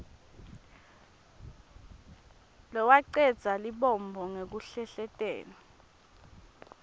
lowacedza lubombo ngekuhlehletela